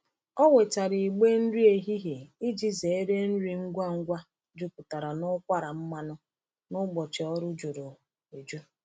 Ọ wetara igbe nri ehihie iji zere nri ngwa ngwa jupụtara n’ụkwara mmanụ n’ụbọchị ọrụ juru eju.